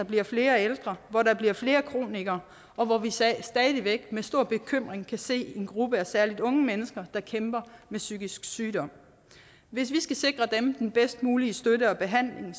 bliver flere ældre hvor der bliver flere kronikere og hvor vi stadig væk med stor bekymring kan se en gruppe af særlig unge mennesker der kæmper med psykisk sygdom hvis vi skal sikre dem den bedst mulige støtte og behandling